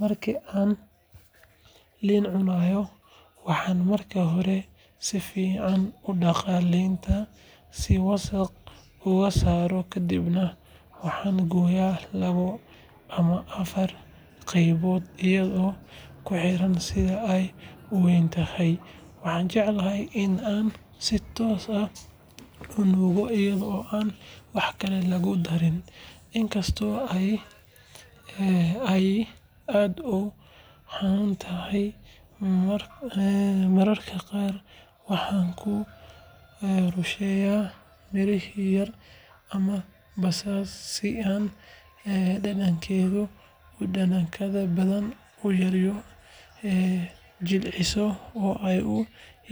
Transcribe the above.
Marka aan liin cunayo, waxaan marka hore si fiican u dhaqaa liinta si wasakh uga saaranto kadibna waxaan gooyaa laba ama afar qaybood iyadoo ku xidhan sida ay u weyn tahay. Waxaan jeclahay in aan si toos ah u nuugo iyadoo aan wax kale lagu darin, inkastoo ay aad u dhanaan tahay. Mararka qaar waxaan ku rusheeyaa milix yar ama basbaas si dhadhankeeda u dhanaanka badan u yara jilciso oo ay u